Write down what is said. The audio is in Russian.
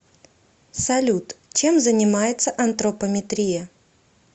салют чем занимается антропометрия